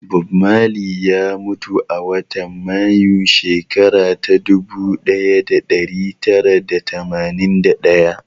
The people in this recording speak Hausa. Bob Marley ya mutu a watan Mayu, shekara ta ɗubu ɗaya da ɗari tara da tamanin da ɗaya.